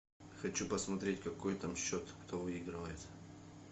хочу посмотреть какой там счет кто выигрывает